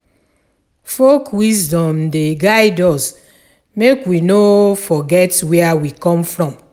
Folk wisdom dey guide us make we no forget where we come from.